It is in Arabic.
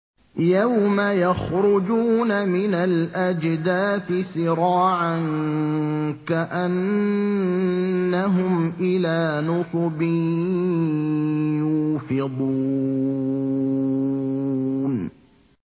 يَوْمَ يَخْرُجُونَ مِنَ الْأَجْدَاثِ سِرَاعًا كَأَنَّهُمْ إِلَىٰ نُصُبٍ يُوفِضُونَ